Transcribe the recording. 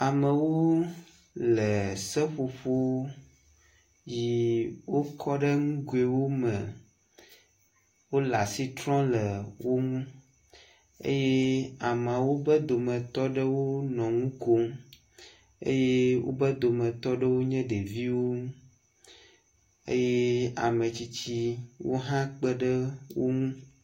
Amewo le seƒoƒo yi wokɔ ɖe nugowo me, wole asi trɔ le wo ŋu eye amewo ƒe dometɔ ɖewo nɔ nukom eye wobe dometɔ ɖewo nye ɖeviwo, eye ametsitsiwo hã kpeɖe wo ŋu